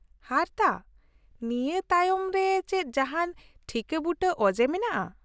-ᱦᱟᱨᱛᱟ ? ᱱᱤᱭᱟᱹ ᱛᱟᱭᱚᱢ ᱨᱮ ᱪᱮᱫ ᱡᱟᱦᱟᱱ ᱴᱷᱤᱠᱟᱹᱵᱩᱴᱟᱹ ᱚᱡᱮ ᱢᱮᱱᱟᱜᱼᱟ ?